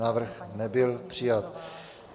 Návrh nebyl přijat.